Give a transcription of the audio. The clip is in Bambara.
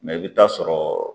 i bi taa sɔrɔ